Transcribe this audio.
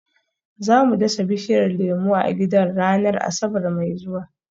Za mu dasa bishiyar lemu a gidan ranar Asabar mai zuwa